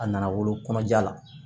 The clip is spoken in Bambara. A nana wolo kɔnɔja la